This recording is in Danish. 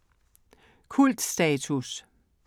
Kultstatus